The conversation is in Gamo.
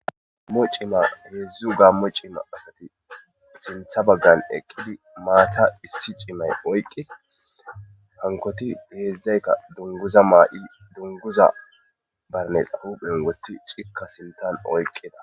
ammo cima heedzdzu gammo cimma asati sintha baggan eqqidi maata issi cimay oyqis hankoti heedzdzaykka dunguza maa7i dunguza barnesa huphen wotti cikka sintan oyqqida